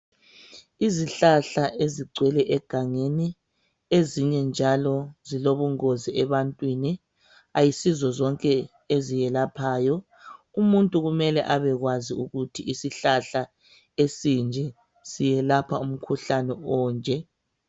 Izihlahla ezigcwele egangeni ezinye njalo zilobungozi ebantwini ayisizo zonke eziyelaphayo. Umuntu kumele abekwazi ukuthi isihlahla esinje siyelapha umkhuhlane onje.